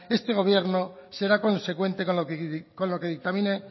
este gobierno será consecuente con lo que dictamine